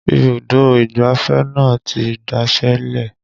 Ibùdó ìgbáfẹ́ náà ti daṣẹ́ lẹ̀